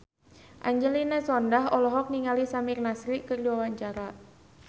Angelina Sondakh olohok ningali Samir Nasri keur diwawancara